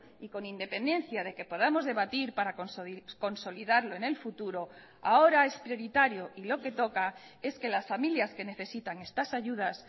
y con independencia de que podamos debatir para consolidarlo en el futuro ahora es prioritario y lo que toca es que las familias que necesitan estas ayudas